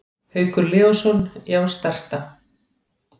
Haukur Leósson: Já stærsta.